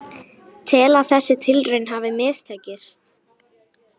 Tel að þessi tilraun hafi mistekist